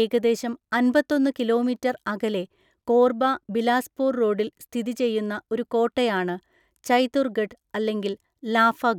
ഏകദേശം അന്‍പത്തൊന്നു കിലോമീറ്റർ അകലെ കോർബ ബിലാസ്പൂർ റോഡിൽ സ്ഥിതിചെയ്യുന്ന ഒരു കോട്ടയാണ് ചൈതുർഗഡ് അല്ലെങ്കിൽ ലാഫഗഡ്.